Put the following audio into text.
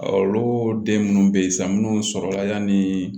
Olu den minnu bɛ yen sa minnu sɔrɔla yanni